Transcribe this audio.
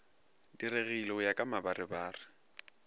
diregile go ya ka mabarebare